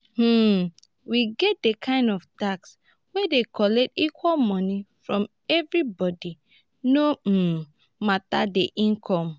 um we get di kind tax wey dey collect equal money from every body no um matter di income